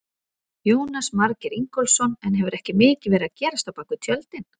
Jónas Margeir Ingólfsson: En hefur ekki mikið verið að gerast á bakvið tjöldin?